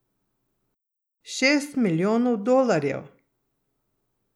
Šest milijonov dolarjev!